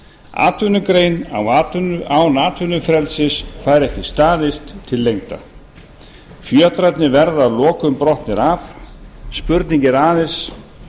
atvinnugrein án atvinnufrelsis fær ekki staðist til lengdar fjötrarnir verða að lokum brotnir af spurning er aðeins